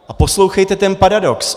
A poslouchejte ten paradox.